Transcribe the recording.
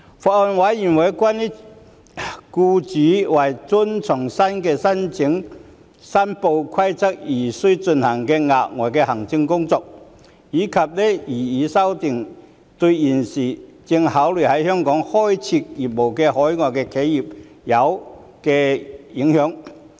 法案委員會關注僱主為遵從新的申報規定而需進行的額外行政工作，以及擬議修訂對現正考慮在香港開設業務的海外企業有何影響。